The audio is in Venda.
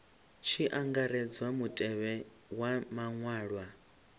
tshi angaredzwa mutevhe wa maṅwalwa